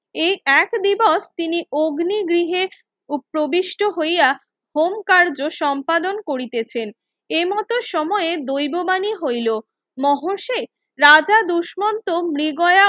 এই এক দিবক তিনি অগ্নি গৃহে উপবিষ্ট হইয়া হোমকার্য সম্পাদন করিতেছেন এমতো সময়ে দৈববাণী হইলো মহর্ষে রাজা দুস্মন্ত মৃগয়া